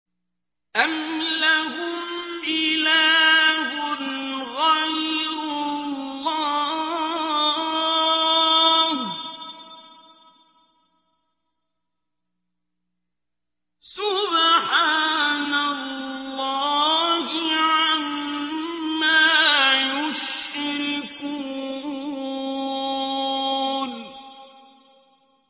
أَمْ لَهُمْ إِلَٰهٌ غَيْرُ اللَّهِ ۚ سُبْحَانَ اللَّهِ عَمَّا يُشْرِكُونَ